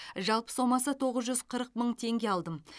жалпы сомасы тоғыз жүз қырық мың теңге алдым